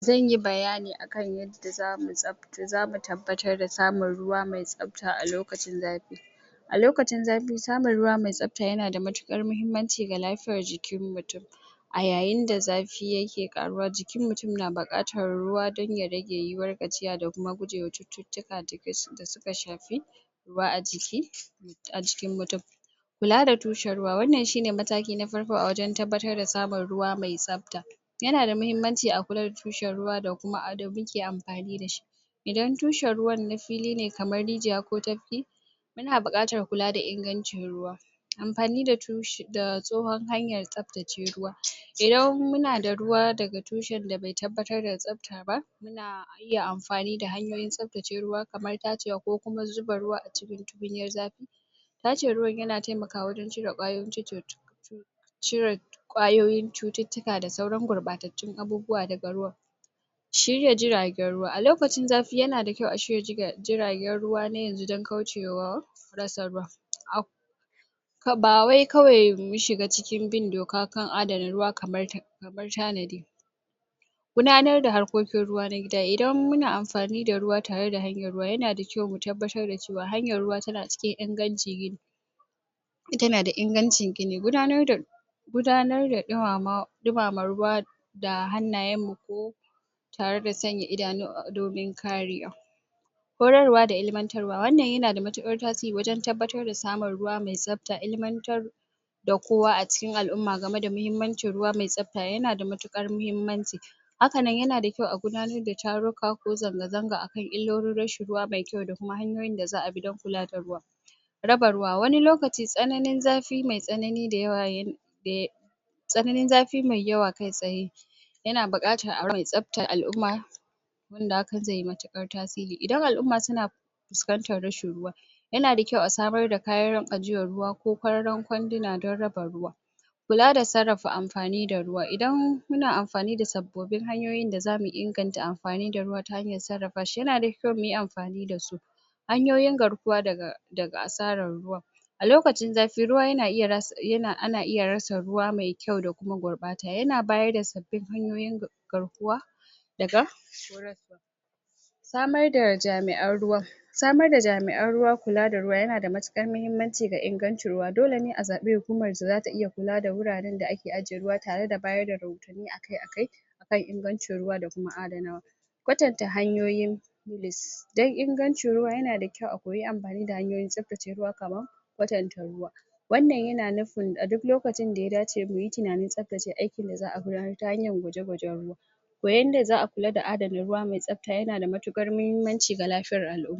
zanyi bayani akan yanda zamu samar da ruwa ah lokacin zafi samun ruwa mai tsabta yana da matukar am fani da mahimmanci da lafiyar jiki a yayin da zafi ya ke karuwa jikin mutum na bukatar ruwa dan ya rage